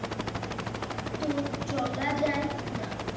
তো চলা যায় না